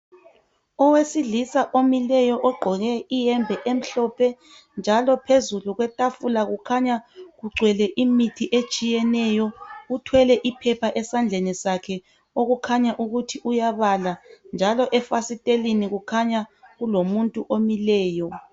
Owesilisa omileyo ogqoke iyembe emhlophe njalo phezulu kwetafula kukhanya kugcwele imithi etshiyeneyo. Uthwele iphepha esandleni sakhe okukhanya ukuthi uyabala njalo efasitelini kukhanya kulomuntu omileyo.